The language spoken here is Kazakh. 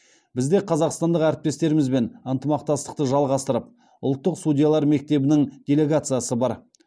бізде қазақстандық әріптестерімізбен ынтымақтастықты жалғастырып ұлттық судьялар мектебінің делегациясы бар